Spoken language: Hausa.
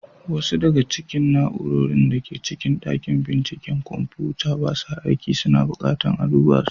Wasu daga cikin na'urorin da ke cikin dakin binciken kwamfuta ba sa aiki, suna bukatar a duba su.